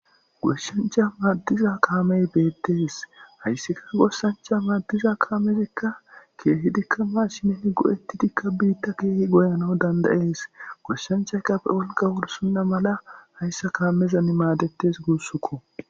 Gooshshanchcha madiza kaamey bettess haysika gooshshanchcha maadiza kaameyka keehidika mashinen goettidikka biththa kehi goyanaw dandeess gooshshanchchayka be wolqqa wursonna mala hayssa kameza maadeththes gussako.